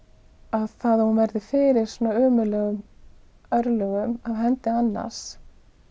það að hún verði fyrir svona ömurlegum örlögum af hendi annars